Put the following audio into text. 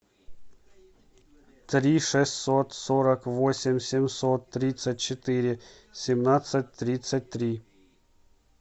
три шестьсот сорок восемь семьсот тридцать четыре семнадцать тридцать три